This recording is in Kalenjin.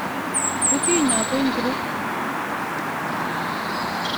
Kutinyo ngo ingiro?